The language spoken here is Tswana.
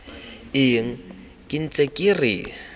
eng ke ntse ke re